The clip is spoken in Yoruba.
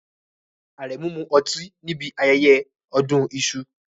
Aremu mu oti níbi ayẹyẹ odun isu